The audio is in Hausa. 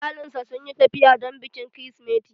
Iyalinsa sun yi tafiya don bikin krismeti